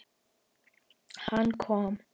Hann kom.